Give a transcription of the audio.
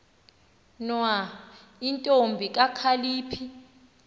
nwa intombi kakhalipha